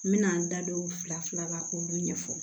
N bɛna n da don fila fila la k'olu ɲɛfɔ